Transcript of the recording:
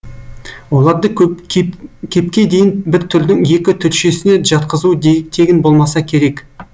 оларды кепке дейін бір түрдің екі түршесіне жатқызуы тегін болмаса керек